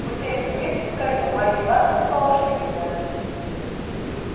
мы сели в кибитку втроём марья ивановна с палашей и я